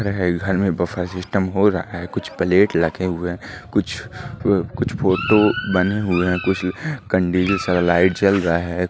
है घर में बफर सिस्टम हो रहा है कुछ प्लेट रखे हुए है कुछ फोटो बने हुए है कुछ कंडील सा लाइट जल रहा है।